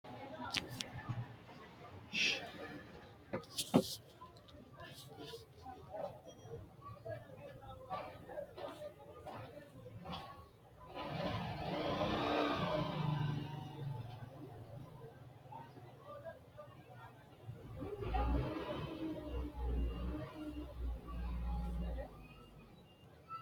kuni doogo ka'anni afamanno uurinshi alatti cuukkote quchumira afamannoha ikkanna isino sidaamu qoqqowi giddo alatti cuukkote gashshootu biirot dargiseno alatti cuukkote hospitale mule afamanno.